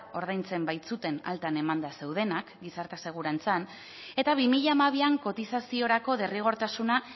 ordaintzen baitzuten altan emanda zeudenak gizarte segurantzan eta bi mila hamabian kotizaziorako derrigortasuna